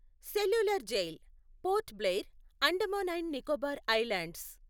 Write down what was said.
cellular Jail Port Blair, Andaman and Nicobar islands